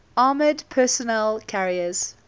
armoured personnel carriers